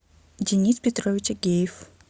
денис петрович агеев